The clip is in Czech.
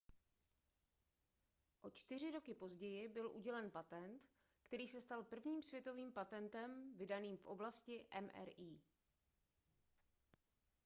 o čtyři roky později byl udělen patent který se stal prvním světovým patentem vydaným v oblasti mri